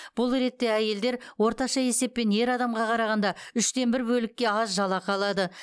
бұл ретте әйелдер орташа есеппен ер адамға қарағанда үштен бір бөлікке аз жалақы алады